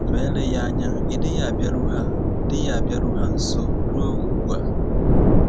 Ma eleghị anya ị dịghị abịaru ha dịghị abịaru ha nso ruo ugbu a.